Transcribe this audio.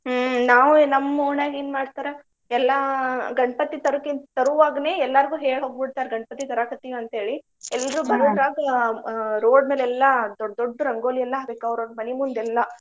ಹ್ಮ್ ನಾವು ನಮ್ಮ್ ಒಣ್ಯಾಗ ಏನ್ ಮಾಡ್ತಾರ ಎಲ್ಲಾ ಗಣಪತಿ ತರೊಕ್ಕಿಂತ್ ತರೋವಾಗ್ನೇ ಎಲ್ಲಾರ್ಗು ಹೇಳಿ ಹೋಗ್ಬಿಡ್ತಾರ್ ಗಣಪತಿ ತರಾಕತ್ತಿವ್ ಅಂತ್ಹೇಳಿ. ಎಲ್ರೂ ಆ road ಮ್ಯಾಲೆಲ್ಲಾ ದೊಡ್ಡ್ ದೊಡ್ಡ್ ರಂಗೋಲಿ ಎಲ್ಲಾ ಹಾಕ್ಬೇಕ್ ಅವ್ರ್ ಅವ್ರ್ ಮನಿ ಮುಂದ್ ಎಲ್ಲಾ.